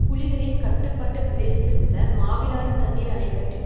புலிகளின் கட்டுப்பாட்டு பிரதேசத்தில் உள்ள மாவிலாறு தண்ணீர் அனைக்கட்டின்